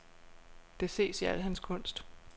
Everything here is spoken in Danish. Det ses i al hans kunst.